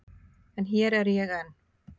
En hér er ég enn.